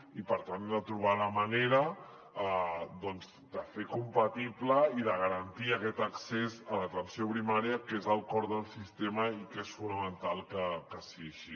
i per tant hem de trobar la manera de fer compatible i de garantir aquest accés a l’atenció primària que és el cor del sistema i que és fonamental que sigui així